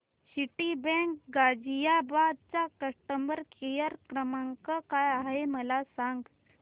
Citibank Ghaziabad चा customer care क्रमांक काय आहे मला सांग